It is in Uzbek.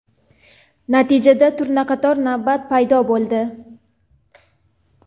Natijada turnaqator navbat paydo bo‘ldi.